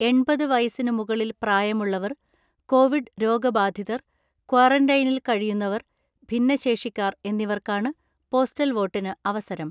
എണ്‍പത് വയസ്സിനു മുകളിൽ പ്രായമുള്ളവർ, കോവിഡ് രോഗബാധിതർ, ക്വാറന്റൈനിൽ കഴിയുന്നവർ, ഭിന്നശേഷിക്കാർ എന്നിവർക്കാണ് പോസ്റ്റൽ വോട്ടിന് അവസരം.